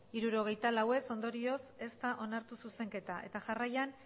hirurogeita lau ez ondorioz ez da onartu zuzenketa eta jarraian